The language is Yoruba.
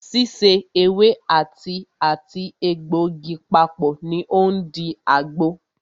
Síse ewé àti àti egbògi papọ̀ ní o ń di àgbo.